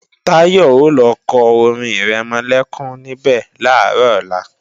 Táyọ̀ ò lọ kọ orin-ìrẹmọlẹ́kún níbẹ̀ làárọ̀ ọ̀la